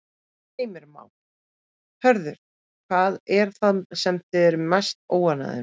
Heimir Már: Hörður, hvað er það sem þið eruð mest óánægðir með?